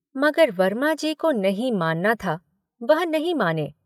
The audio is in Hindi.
मगर वर्माजी को नहीं मानना था, वह नहीं माने।